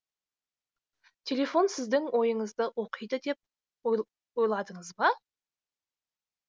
телефон сіздің ойыңызды оқиды деп ойладыңыз ба